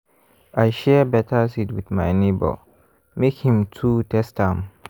i share better seed with my neighbor make him too test am.